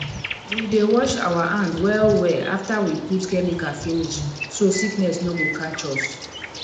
we dey wash our hand well well after we put chemicals finish so sickness no go catch us